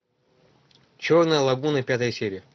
черная лагуна пятая серия